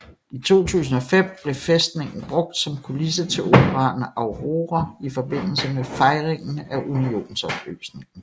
I 2005 blev fæstningen brugt som kulisse til operaen Aurora i forbindelse med fejringen af unionsopløsningen